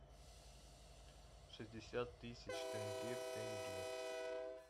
шестьдесят тысяч тенге в тенге